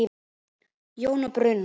Jón Bruno.